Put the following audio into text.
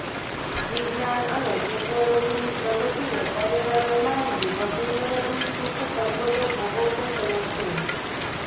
વિજ્ઞાન અને ટેકનોલોજીની પ્રગતીને પરિણામે માનવી વધુ ને વધુ સુખસગવડો ભોગવતો થયો છે